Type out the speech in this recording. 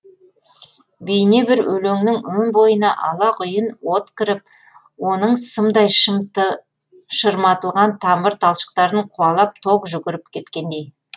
бейне бір өлеңнің өн бойына алақұйын от кіріп оның сымдай шырматылған тамыр талшықтарын қуалап ток жүгіріп кеткендей